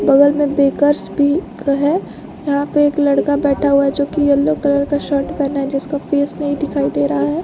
बगल में बेकर्स भी है यहां पे एक लड़का बैठा हुआ है जो की येलो कलर का शर्ट पहना है जिसका फेस नहीं दिखाई दे रहा है।